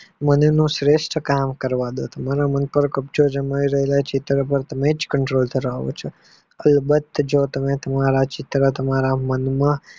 મને એનું શ્રેષ્ઠ કામ કરવાદો મારા મન પાર કબ્જો જમાવી રહ્યા છે તેના પાર મેજ control કરાવ્યો છે આવી જો તમે તમારા ચિત્ર તમારા મનમાં